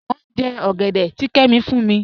Mọ̀ n jẹ́ ogẹ̀dẹ̀ tì Kẹ́mí fún mi.